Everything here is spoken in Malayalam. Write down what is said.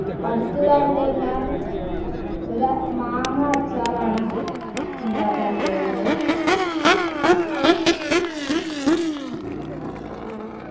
അടുത്തതായിട്ടു ഞാൻ ഒര മാങ്ങ അച്ചാറാണ് ഉണ്ടാക്കാൻ പോകുന്നത്